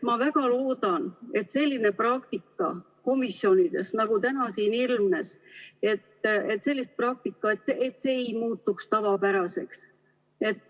Ma väga loodan, et selline praktika komisjonides, nagu täna siin ilmnes, ei muutu tavapäraseks.